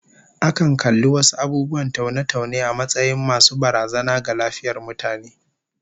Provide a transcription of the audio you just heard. Akan kalli wasu abubuwan taune-taune a matsayin masu barazana ga lafiyar mutane